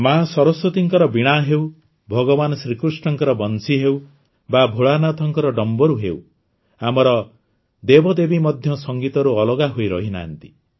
ମାଆ ସରସ୍ୱତୀଙ୍କ ବୀଣା ହେଉ ଭଗବାନ ଶ୍ରୀକୃଷ୍ଣଙ୍କ ବଂଶୀ ହେଉ ବା ଭୋଳାନାଥଙ୍କ ଡମ୍ବରୁ ହେଉ ଆମର ଦେବଦେବୀ ମଧ୍ୟ ସଂଗୀତରୁ ଅଲଗା ହୋଇ ରହିନାହାନ୍ତି